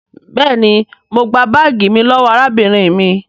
béèni mọ gbà baagi mí lówó arábìnrin mí.